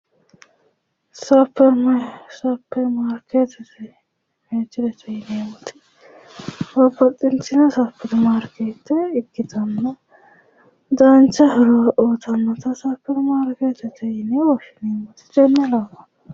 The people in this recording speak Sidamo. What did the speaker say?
Supirimariketete mirte yineemmoti babbaxitino maarikete ikkittano dancha horo uyittanotta supirimariketete yinne woshshineemmote.